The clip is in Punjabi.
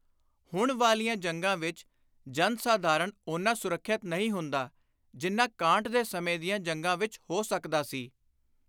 ਹੁਣ ਵਾਲੀਆਂ ਜੰਗਾਂ ਵਿਚ ਜਨ-ਸਾਧਾਰਣ ਓਨਾ ਸੁਰੱਖਿਅਤ ਨਹੀਂ ਹੁੰਦਾ ਜਿੰਨਾ ਕਾਂਟ ਦੇ ਸਮੇਂ ਦੀਆਂ ਜੰਗਾਂ ਵਿਚ ਹੋ ਸਕਦਾ ਸੀ।